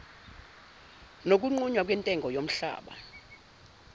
nokunqunywa kwentengo yomhlaba